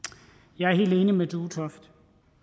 jeg er helt enig med duetoft